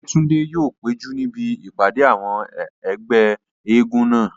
Ọ̀jẹ́túndé yóò péjú níbi ìpàdé àwọn ẹgbẹ́ eégún náà